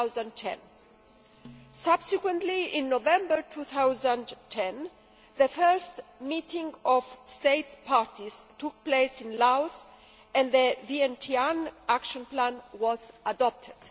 2010. Subsequently, in November 2010, the First Meeting of States Parties took place in Laos and the Vientiane Action Plan was adopted.